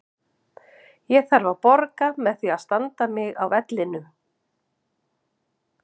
Ég þarf að borga með því að standa mig á vellinum.